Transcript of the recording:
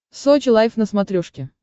сочи лайв на смотрешке